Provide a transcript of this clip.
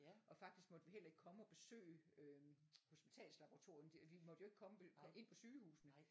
Og faktisk så måtte vi heller ikke komme og besøge øhm hospitalslaboratorierne vi måtte jo ikke komme ind på sygehusene